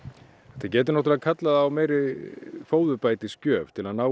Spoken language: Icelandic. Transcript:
þetta getur náttúrulega kallað á meiri fóðurbætisgjöf til að ná